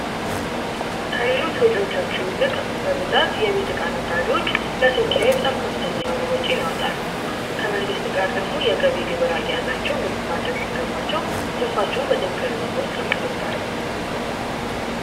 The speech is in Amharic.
ከሌሎች ነጋዴዎች ይልቅ በብዛት የቤት ዕቃ ነጋዴዎች በጣም ከፍተኛ የሆነ ወጪ ያወጣሉ ከመንግስት ጋር ደግሞ የግብር ገቢ አያያዝ ስራታቸው ግልጽ ማድረግ ሲገባቸው በትርፍ ሪፖርት ያደርጋሉ።